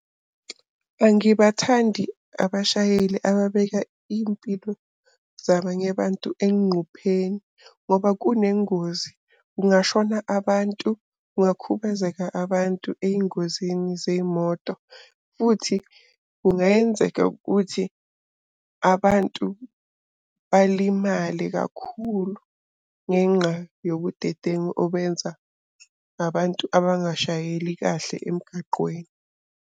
Angibathandi abashayeli ababeka iy'mpilo zabanye bantu enqupheni ngoba kunengozi kungashona abantu, kungakhubazeka abantu ey'ngozini zey'moto. Futhi kungayenzeka ukuthi abantu balimale kakhulu ngenxa yobudedengu obenza ngabantu abangabashayeli kahle emgaqweni.